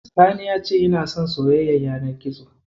Sani ya ce yana son soyayyar yanar gizo.